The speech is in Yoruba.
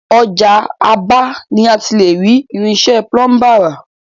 Ọjà Aba ni a ti le rí Irinṣẹ́ Púlúmbà ra